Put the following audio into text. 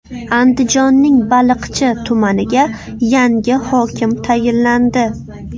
Andijonning Baliqchi tumaniga yangi hokim tayinlandi .